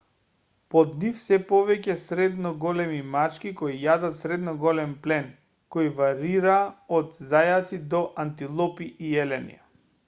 под нив се повеќе средно големи мачки кои јадат средно голем плен кој варира од зајаци до антилопи и елени